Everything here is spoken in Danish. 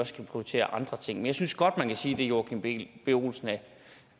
skal prioritere andre ting men jeg synes godt man kan sige det herre joachim b olsen